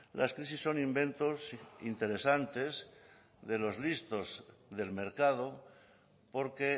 las crisis son inventos interesantes de los listos del mercado porque